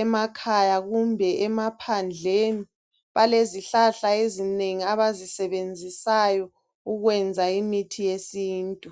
emakhaya kumbe emaphandleni, balezihlahla ezinengi abazisebenzisayo ukwenza imithi yesintu.